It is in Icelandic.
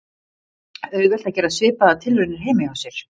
Auðvelt er að gera svipaðar tilraunir heima hjá sér.